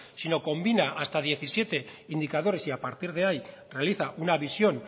sino combina hasta diecisiete indicadores y a partir de ahí realiza una visión